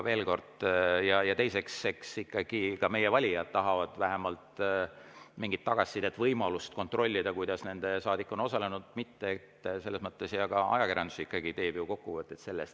Ja teiseks, eks ikkagi ka meie valijad tahavad vähemalt mingit tagasisidet, võimalust kontrollida, kuidas nende saadik on osalenud, ja ka ajakirjandus teeb sellest kokkuvõtteid.